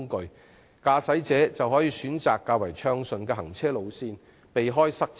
另一方面，駕駛者亦可選擇較暢通的行車路線，避免塞車。